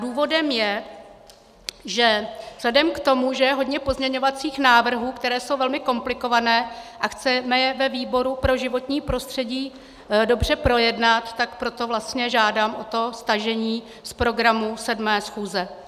Důvodem je, že vzhledem k tomu, že je hodně pozměňovacích návrhů, které jsou velmi komplikované, a chceme je ve výboru pro životní prostředí dobře projednat, tak proto vlastně žádám o to stažení z programu 7. schůze.